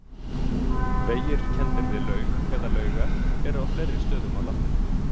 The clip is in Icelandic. Vegir kenndir við laug eða laugar eru á fleiri stöðum á landinu.